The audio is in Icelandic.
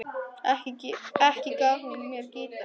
Ekki gaf hún mér gítar.